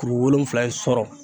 Kuru wolonwula in sɔrɔ